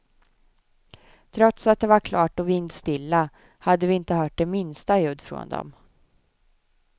Trots att det var klart och vindstilla hade vi inte hört det minsta ljud från dem.